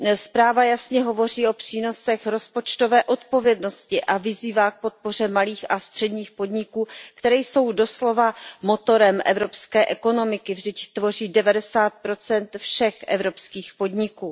Zpráva jasně hovoří o přínosech rozpočtové odpovědnosti a vyzývá k podpoře malých a středních podniků, které jsou doslova motorem evropské ekonomiky, vždyť tvoří 90 všech evropských podniků.